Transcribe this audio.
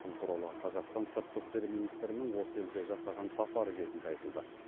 бұл туралы қазақстан сыртқы істер министрінің осы елге жасаған сапары кезінде айтылды